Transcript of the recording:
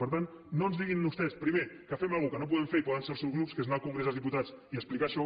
per tant no ens diguin vostès primer que fem una cosa que no podem fer i poden fer els seus grups que és anar al congrés dels diputats i explicar això